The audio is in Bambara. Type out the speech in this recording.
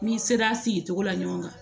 N'i sera a sigicogo la ɲɔgɔn kan